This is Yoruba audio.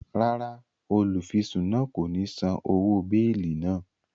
Ràrá, olufisun náà ko ni sàn òwò beeli náà